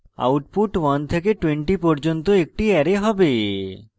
output 1 থেকে 20 পর্যন্ত একটি অ্যারে হবে